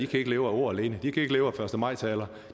kan leve af ord alene de kan ikke leve af første maj taler